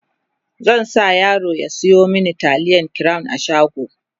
zan sa yaro ya Sayo mini taliyan crown a shago